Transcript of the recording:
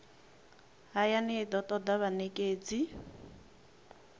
hayani i do toda vhanekedzi